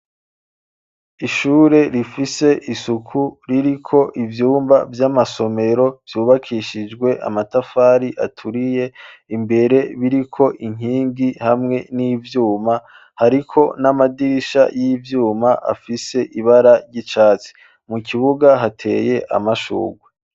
Ishure rifise isuku ririko ivyumba vy'amasomero vyubakishijwe amatafari aturiye imbere biriko inkingi hamwe n'ivyuma, hariko n'amadirisha y'ivyuma afise ibara ry'icatsi, mu kibuga hateye amashurwe.